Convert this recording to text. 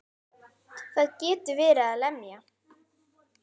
Það getur verið að lemja.